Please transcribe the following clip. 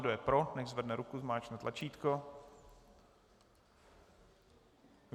Kdo je pro, nechť zvedne ruku, zmáčkne tlačítko.